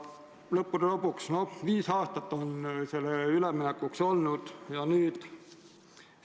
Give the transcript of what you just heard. Lõppude lõpuks on üleminekuks aega olnud viis aastat.